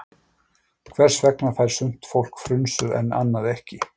Hvers vegna fær sumt fólk frunsu en annað ekki?